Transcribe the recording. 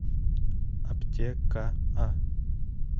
аптека а